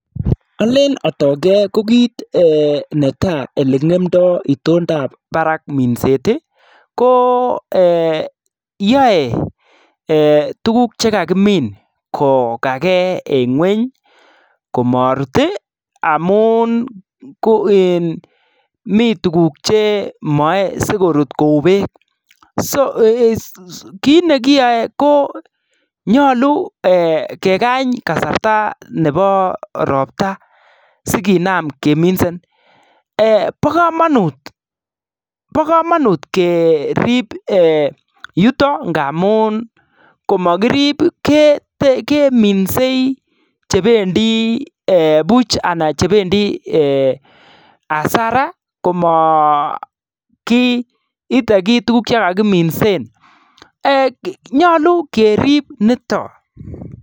Olen otogen ko kit eeh neta olengemdo itondab barak minset iih ko yoe eeh tuguk che kakimin kokage eng ngwony komorut iih amun ko in mi tuguk che moe sikorut kou beek so kit nekiyoe ko nyolu kekany kasarta nebo robta sikinam keminsen eeh bo komonut bo komonut kerib yutok ngamun komokirib keminsei chebendi eeh buch anan chebendi [hasara] komokiite kiy tuguk che kokiminsen nyolu kerib niton.